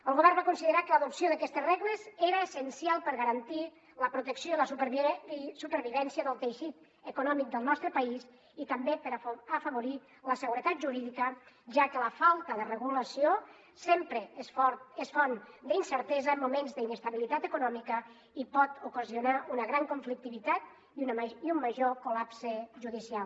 el govern va considerar que l’adopció d’aquestes regles era essencial per garantir la protecció i la supervivència del teixit econòmic del nostre país i també per afavorir la seguretat jurídica ja que la falta de regulació sempre és font d’incertesa en moments d’inestabilitat econòmica i pot ocasionar una gran conflictivitat i un major col·lapse judicial